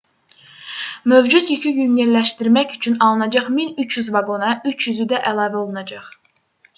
mövcud yükü yüngülləşdirmək üçün alınacaq 1300 vaqona 300-ü də əlavə olunacaq